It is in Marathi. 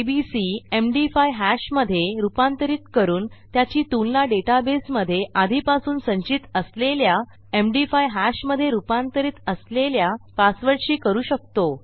एबीसी एमडी5 हॅश मधे रूपांतरित करून त्याची तुलना डेटाबेसमधे आधीपासून संचित असलेल्या एमडी5 हॅश मधे रूपांतरित असलेल्या पासवर्डशी करू शकतो